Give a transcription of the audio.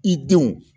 I denw